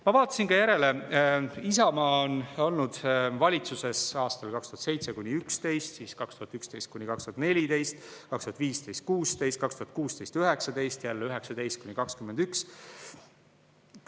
Ma vaatasin järele: Isamaa oli valitsuses aastail 2007–2011, siis 2011–2014, 2015–2016, 2016–2019, jälle 2019–2021.